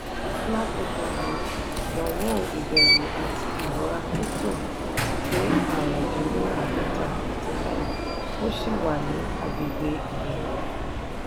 lákòókò yìí ìdánwò ìbẹ̀rù àti ìwọra crypto ti dé àrún dín ní àádọ́ta (45) ó ṣì wà ní àgbègbè ìbẹ̀rù.